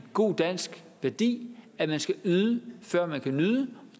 god dansk værdi at man skal yde før man kan nyde